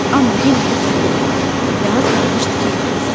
Amma yenə də səndələdi və az qalmışdı ki, yıxılsın.